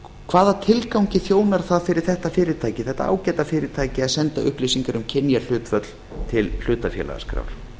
hvaða tilgangi þjónar það fyrir þetta ágæta fyrirtæki að senda upplýsingar um kynjahlutföll til hlutafélagaskrár